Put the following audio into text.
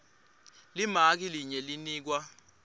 limaki linye linikwa